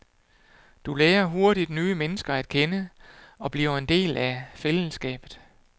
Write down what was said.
Du lærer hurtigt nye mennesker at kende og bliver en del af fællesskabet.